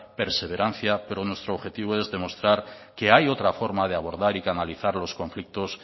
perseverancia pero nuestro objetivo es demostrar que hay otra forma de abordar y canalizar los conflictos